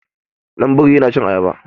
Ɗan biri yana san cin ayaba.